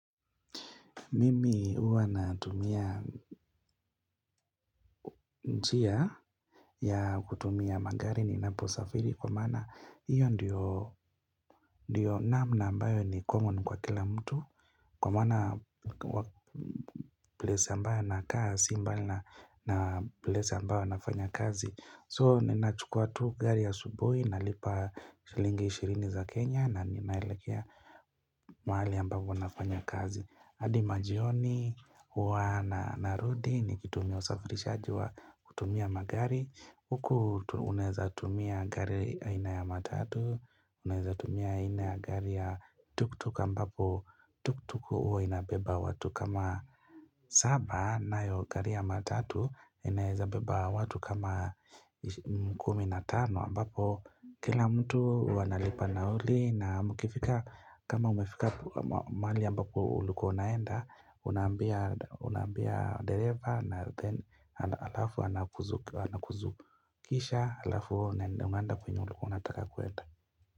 Mimi huwa natumia njia ya kutumia magari ninaposafiri kwa maana hiyo ndiyo namna ambayo ni common kwa kila mtu Kwa maana place ambayo nakaa sibmbali na place ambayo nafanya kazi So ninachukua tu gari asubuji nalipa shilingi ishirini za Kenya na ninaelekea mahali ambapo nafanya kazi hadi majioni huwa narudi nikitumia usafirishaji wa kutumia magari Huku unaeza tumia gari aina ya matatu Unaeza tumia aina ya gari ya tuktuk ambapo tuktuk huwa inabeba watu kama saba nayo gari ya matatu inaeza beba watu kama kumi na tano ambapo kila mtu huwa analipa nauli na mkifika kama umefika mahali ambapo ulikua unaenda Unaambia unaambia dereva na alafu anakuzu kisha alafu unaenda kwenye ulikua unataka kuenda.